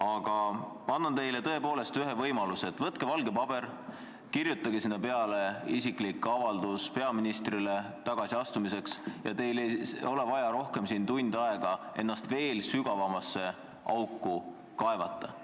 Aga ma annan teile ühe võimaluse: võtke valge paber, kirjutage sinna isiklik avaldus peaministrile teie tagasiastumise kohta ja teil ei ole vaja siin ennast veel sügavamasse auku kaevata.